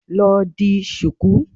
Lọ di ṣùkú.